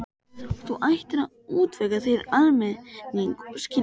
Þú ættir að útvega þér almennileg skilríki.